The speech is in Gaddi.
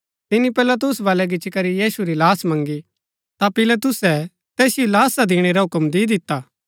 तिनी पिलातुस बलै गिच्ची करी यीशु री लाश मँगी ता पिलातुसै तैसिओ लाशा दिणै रा हुक्म दि दिता